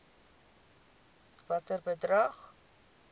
watter bedrag